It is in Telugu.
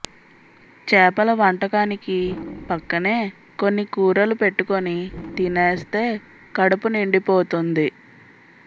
చేపల వంటకానికి పక్కనే కొన్ని కూరలు పెట్టుకుని తినేస్తే కడుపు నిండిపోతుంది